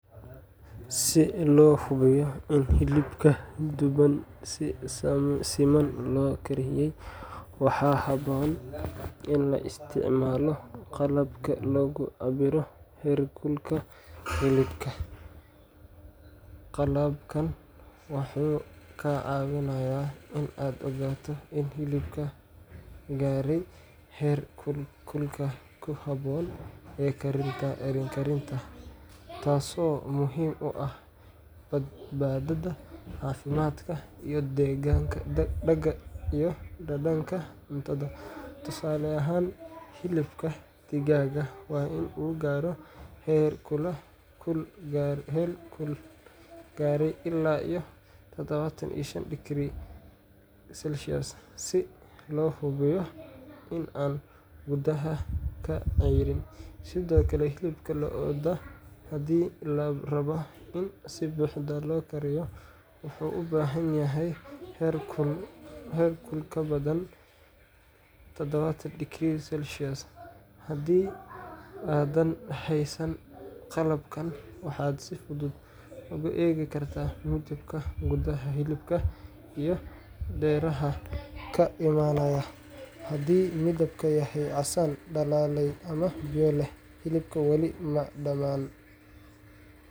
Si loo hubiyo in hilibka duban si siman loo kariyey, waxaa habboon in la isticmaalo qalabka lagu cabbiro heerkulka hilibka. Qalabkan wuxuu kaa caawinayaa in aad ogaato in hilibka gaaray heer kulka ku habboon ee karinta, taasoo muhiim u ah badbaadada caafimaadka iyo dhadhanka cuntada. Tusaale ahaan, hilibka digaagga waa in uu gaaro heer kul gaaraya ilaa 75 digrii Celsius si loo hubiyo in aanu gudaha ka ceyrin. Sidoo kale, hilibka lo’da haddii la rabo in si buuxda loo kariyo, wuxuu u baahan yahay heer kul ka badan 70 digrii Celsius. Haddii aadan haysan qalabkan, waxaad si fudud u eegi kartaa midabka gudaha hilibka iyo dareeraha ka imaanaya. Haddii midabku yahay casaan dhalaalaya ama biyo leh, hilibku wali ma dhammaan